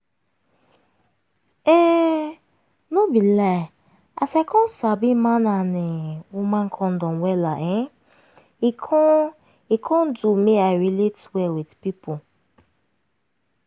um no be lie as i come sabi man and um woman condom wella um e come e come do make i relate well with pipu